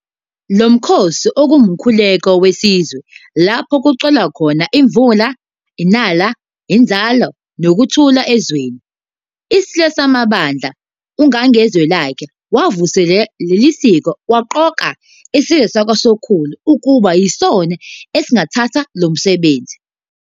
Lo mkhosi ungumkhuluko wesizwe lapho kucelwa khona imvula, inala, inzalo, nokuthula ezweni. ISilo saMabandla, uNgangezwelakhe wavuselela leli siko waqoka isizwe sakwaSokhulu ukuba yisona esisingatha lo msebenzi.